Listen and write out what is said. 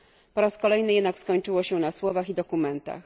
Po raz kolejny jednak skończyło się na słowach i dokumentach.